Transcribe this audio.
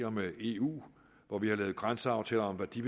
og med eu grænseaftaler om hvad de